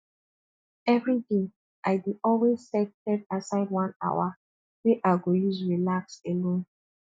everyday i dey always set set aside one hour wey i go use relax alone